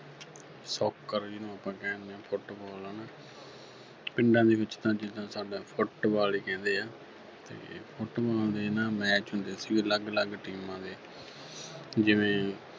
Soccer ਜਿਹਨੂੰ ਆਪਾਂ ਕਹਿ ਦਿੰਨੇ ਆ Football ਹੈ ਨਾ ਪਿੰਡਾਂ ਦੇ ਵਿੱਚ ਤਾਂ ਜਿਦਾਂ ਸਾਡੇ Football ਹੀ ਕਹਿੰਦੇ ਆ ਤੇ Football ਦੇ ਨਾ match ਹੁੰਦੇ ਸੀ ਉਹ ਅਲੱਗ-ਅਲੱਗ teams ਦੇ ਜਿਵੇਂ